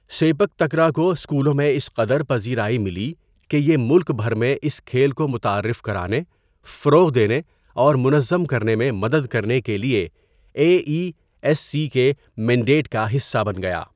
Sepak takraw کو اسکولوں میں اس قدر پذیرائی ملی کہ یہ ملک بھر میں اس کھیل کو متعارف کرانے، فروغ دینے اور منظم کرنے میں مدد کرنے کے لیے اے ای ایس سی کے مینڈیٹ کا حصہ بن گیا۔